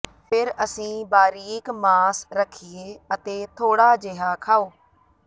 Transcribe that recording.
ਫਿਰ ਅਸੀਂ ਬਾਰੀਕ ਮਾਸ ਰੱਖੀਏ ਅਤੇ ਥੋੜਾ ਜਿਹਾ ਖਾਓ